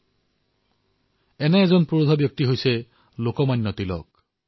সেই মহান বিভূতিসমূহৰ মাজৰ এজন হল লোকমান্য তিলক